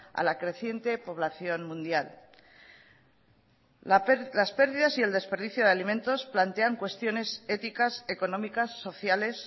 a la creciente población mundial las pérdidas y el desperdicio de alimentos plantean cuestiones éticas económicas sociales